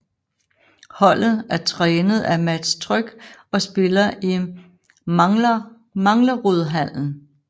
Holdet er trænet af Mats Trygg og spiller i Manglerudhallen